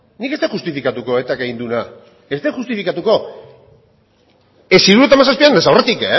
nik ez dut justifikatuko etak egin duena ez dut justifikatuko ez hirurogeita hamazazpian ez aurretik